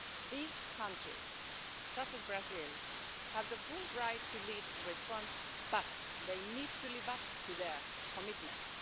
These countries, such as Brazil, have the full right to lead the response but they need to live up to their commitments.